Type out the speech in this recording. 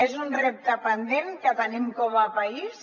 és un repte pendent que tenim com a país